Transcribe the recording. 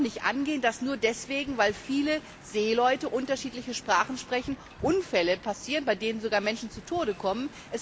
Es kann doch nicht angehen, dass nur deswegen, weil viele Seeleute unterschiedliche Sprachen sprechen, Unfälle passieren, bei denen sogar Menschen zu Tode kommen.